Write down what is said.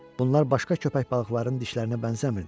Bunlar başqa köpək balıqlarının dişlərinə bənzəmirdi.